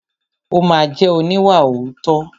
Ó ma jẹ́ oníwàòótọ́.